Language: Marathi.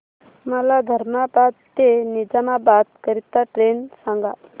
मला धर्माबाद ते निजामाबाद करीता ट्रेन सांगा